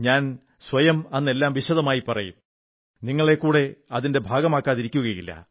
ഞാൻ സ്വയം അന്ന് എല്ലാം വിശദമായി പറയും നിങ്ങളെക്കൂടെ അതിന്റെ ഭാഗമാക്കാതിരിക്കയുമില്ല